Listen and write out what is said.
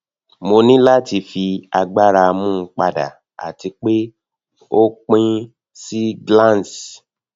mo ni lati fi agbara mu pada ati pe o pin si glans